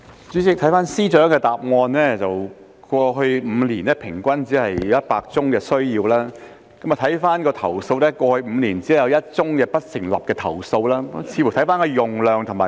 主席，根據司長的答覆，過去5年平均每年只有約100宗司法程序需要使用手語傳譯服務，而過去5年只有1宗不成立的投訴。